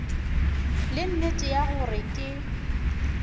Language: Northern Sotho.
le nnete ya gore ke